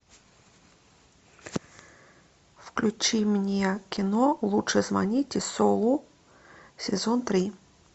включи мне кино лучше звоните солу сезон три